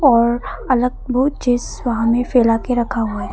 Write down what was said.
और अलग वो चीज सामने फैला के रखा हुआ है।